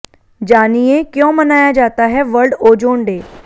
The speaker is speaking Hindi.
जानिये क्यों मनाया जाता है वर्ल्ड ओजोन डे